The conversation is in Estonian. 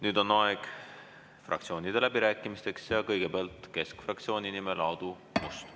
Nüüd on aeg fraktsioonide läbirääkimisteks ja kõigepealt keskfraktsiooni nimel Aadu Must.